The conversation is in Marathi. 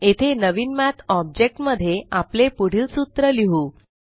येथे नवीन मठ ऑब्जेक्ट मध्ये आपले पुढील सूत्र लिहु